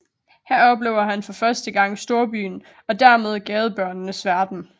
Her oplever han for første gang storbyen og dermed gadebørnenes verden